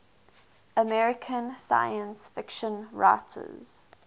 american science fiction writers